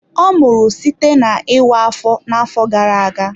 Ọ mụrụ site n'ịwa afọ na-afọ gara aga.